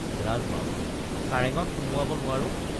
ৰাজমাওক কাৰেঙত সুমুৱাব নোৱাৰো?